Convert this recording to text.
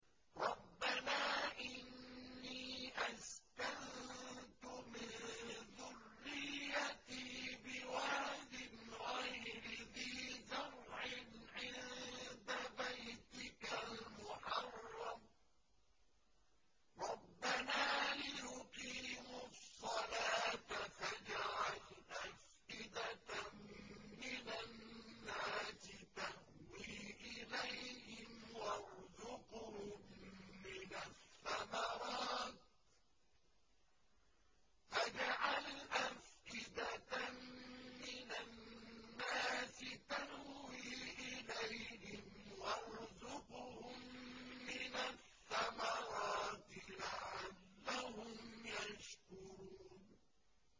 رَّبَّنَا إِنِّي أَسْكَنتُ مِن ذُرِّيَّتِي بِوَادٍ غَيْرِ ذِي زَرْعٍ عِندَ بَيْتِكَ الْمُحَرَّمِ رَبَّنَا لِيُقِيمُوا الصَّلَاةَ فَاجْعَلْ أَفْئِدَةً مِّنَ النَّاسِ تَهْوِي إِلَيْهِمْ وَارْزُقْهُم مِّنَ الثَّمَرَاتِ لَعَلَّهُمْ يَشْكُرُونَ